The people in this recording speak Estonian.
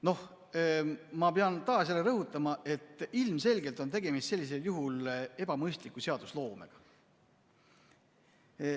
Noh, ma pean taas rõhutama, et ilmselgelt on tegemist sellisel juhul ebamõistliku seadusloomega.